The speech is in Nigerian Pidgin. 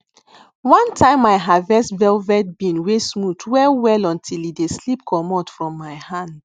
one time i harvest velvet bean wey smooth wellwell until e dey slip commot from my hand